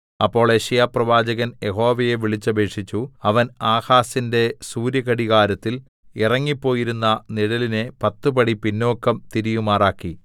അപ്പോൾ യെശയ്യാപ്രവാചകൻ യഹോവയെ വിളിച്ചപേക്ഷിച്ചു അവൻ ആഹാസിന്റെ സൂര്യഘടികാരത്തിൽ ഇറങ്ങിപ്പോയിരുന്ന നിഴലിനെ പത്തു പടി പിന്നോക്കം തിരിയുമാറാക്കി